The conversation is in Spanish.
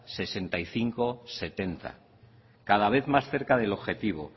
sesenta y cinco setenta cada vez más cerca del objetivo